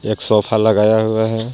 एक सोफा लगाया हुआ है.